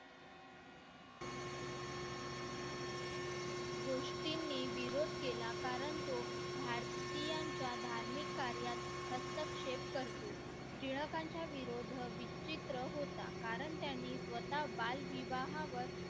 गोष्टींनी विरोध केला कारण तो भारतीयांच्या धार्मिक कार्यात हस्तक्षेप करतो टिळकांचा विरोध विचित्र होता कारण त्यांनी स्वता बालविवाह वर